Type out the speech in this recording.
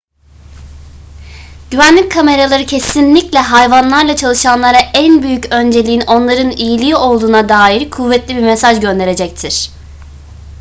güvenlik kameraları kesinlikle hayvanlarla çalışanlara en büyük önceliğin onların iyiliği olduğuna dair kuvvetli bir mesaj gönderecektir